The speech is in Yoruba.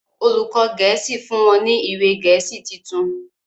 olùkó gèésì fún wón ní ìwé gèésì títún.